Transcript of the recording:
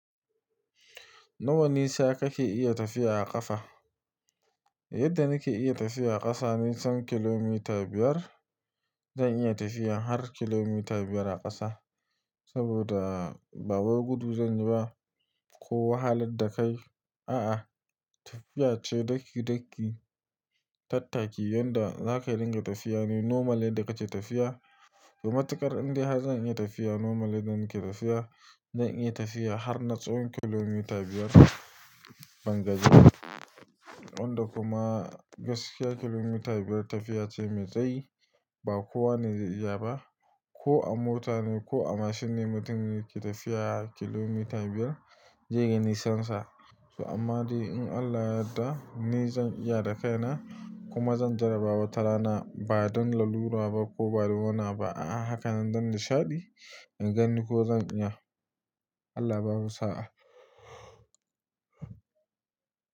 Nawa nisa kake iya tafiya a ƙasa? Yadda nake iya tafiya a ƙasa, ni son kilometer biyar zan iya tafiya har kilometer biyar a ƙasa. Saboda ba gudu zan yi ba ko wahalar da kai, a'a, tafiya ce, daki-daki, tattaki yanda za ka dinga tafiya ne normal ne da kace tafiya. Ga matuƙar indai har zan iya tafiya normal da nake tafiya, zan iya tafiya har na tsawon kilomita biyar bangajiba. Wanda kuma gaskiya kilometer biyar tafiya ce mai tsayi, ba kowane zai iya ba. Ko a mota ne ko a mashin ne mutum yake tafiya kilometer biyar, zaiga nisansa. Amma dai in Allah yadda, ni zan iya da kaina kuma zan jarraba wata rana. Ba don lalura ba ko ba don wani abu a'a, haka nan don nishaɗi in gani ko zan iya. Allah babu sa'a.